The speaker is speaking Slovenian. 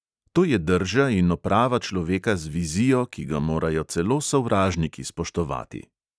To je drža in oprava človeka z vizijo, ki ga morajo celo sovražniki spoštovati.